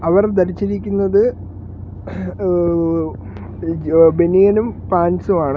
അവർ ധരിച്ചിരിക്കുന്നത് ഏഹ് ബനിയനും പാൻ്റ്സും ആണ്.